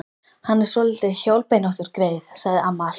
Hann er svolítið hjólbeinóttur, greyið, sagði amma alltaf.